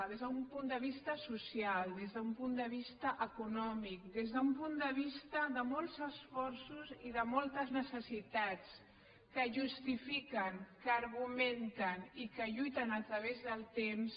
des d’un punt de vista social des d’un punt de vista econòmic des d’un punt de vista de molts esforços i de moltes necessitats que justifiquen que argumenten i que lluiten a través del temps